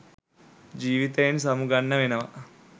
ජීවිතයෙන් සමුගන්න වෙනවා.